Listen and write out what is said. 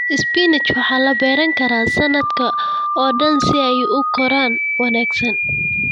Spinach waxaa la beeran karaa sanadka oo dhan si ay u koraan wanaagsan.